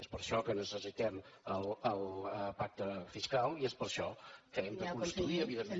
és per això que necessitem el pacte fiscal i és per això que hem d’aconseguir evidentment